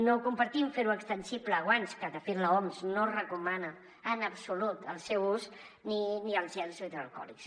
no compartim fer ho extensible a guants que de fet l’oms no recomana en absolut el seu ús ni els gels hidroalcohòlics